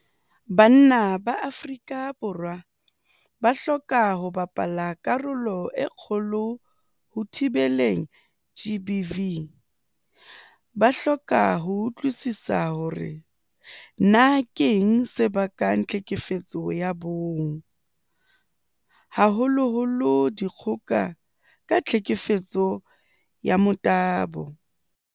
Banna ba Afrika Borwa ba hloka ho bapala karolo e kgolo ho thibeleng GBV. Ba hloka ho utlwisisa hore na keng se bakang tlhekefetso ya bong, haholoholo dikgoka ka tlhekefetso ya motabo.